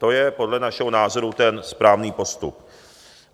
To je podle našeho názoru ten správný postup.